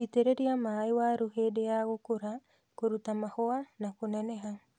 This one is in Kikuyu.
Itĩreria maĩ waru hĩndĩ ya gũkũra, kũruta mahuwa na kũneneha.